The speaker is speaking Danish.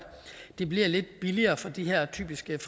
det bliver lidt billigere for de her typisk